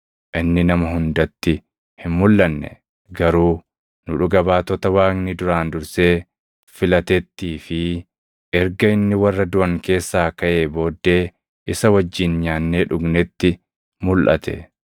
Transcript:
Inni nama hundatti hin mulʼanne; garuu nu dhuga baatota Waaqni duraan dursee filatettii fi erga inni warra duʼan keessaa kaʼee booddee isa wajjin nyaannee dhugnetti mulʼate.